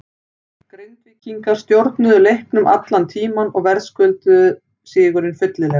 Grindvíkingar stjórnuðu leiknum allan tímann og verðskulduðu sigurinn fyllilega.